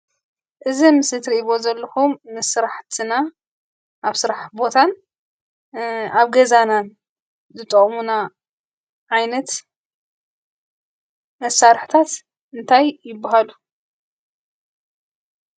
እዙይ ኣብ ምስሊ እትርእይዎ ዘለኹም ስራሕትና፣ ኣብ ስራሕ ቦታን ኣብ ገዛናን ዝጠቐሙና ዓይነት መሳርሕታት እንታይ ይብሃሉ?